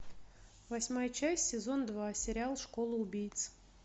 восьмая часть сезон два сериал школа убийц